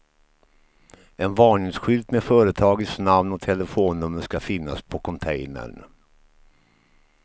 En varningsskylt med företagets namn och telefonnummer ska finnas på containern.